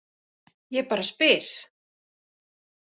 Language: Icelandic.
Ég bara spyr.